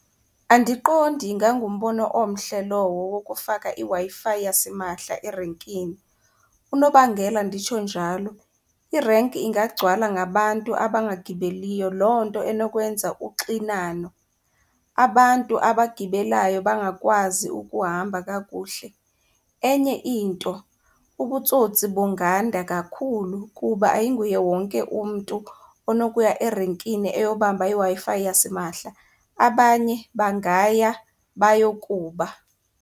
Andiqondi ingangumbono omhle lowo wokufaka iWi-Fi yasimahla erenkini. Unobangela nditsho njalo irenki ingagcwala ngabantu abangagibeliyo, loo nto enokwenza uxinano, abantu abagibelayo bangakwazi ukuhamba kakuhle. Enye into, ubutsotsi bunganda kakhulu kuba ayinguye wonke umntu onokuya erenkini eyobamba iWi-Fi yasimahla, abanye bangaya bayokuba.